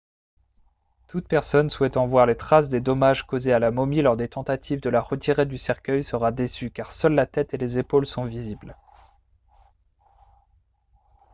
toute personne souhaitant voir les traces des dommages causés à la momie lors des tentatives de la retirer du cercueil sera déçue car seules la tête et les épaules sont visibles